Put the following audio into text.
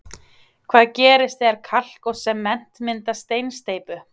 Hvað gerist þegar kalk og sement mynda steinsteypu?